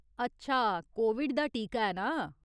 अच्छा, कोविड दा टीका ऐ ना ?